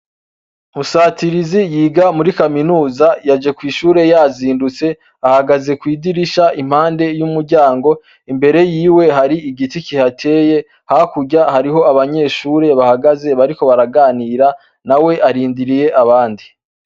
Musatirizi yiga muri kaminuza yaje kw'ishure yazindutse ahagaze kw'idirisha impande y'umuryango imbere yiwe hari igiti kihateye hakurya hariho abanyeshure bahagaze bariko baraganira na we arindiriye abandi.